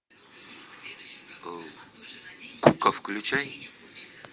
кука включай